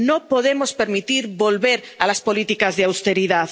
No podemos permitir volver a las políticas de austeridad.